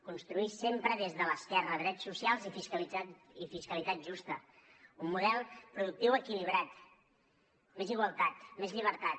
construir sempre des de l’esquerra drets socials i fiscalitat justa un model productiu equilibrat més igualtat més llibertat